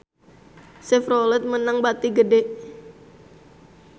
Chevrolet meunang bati gede